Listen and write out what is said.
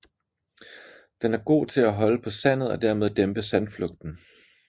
Den er god til at holde på sandet og dermed dæmpe sandflugten